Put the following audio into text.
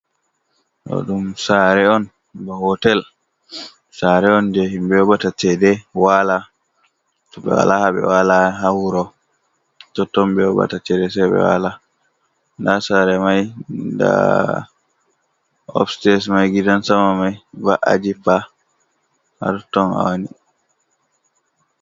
Ɗo ɗum sare on ba hotel sare on je himɓe yoɓata cede wala, to ɓe wala ha ɓe wala ha wuro totton ɓe yoɓata cede sai wala. Nda sare mai da opstes mai gidan sama mai va’a jippa ha totton ɓe woni.